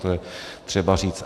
To je třeba říct.